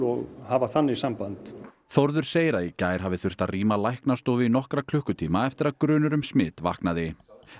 og hafa þannig samband Þórður segir að í gær hafi þurft að rýma læknastofu í nokkra klukkutíma eftir að grunur um smit vaknaði